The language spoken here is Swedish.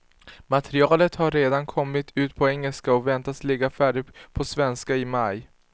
Materialet har redan kommit ut på engelska och väntas ligga färdigt på svenska i maj.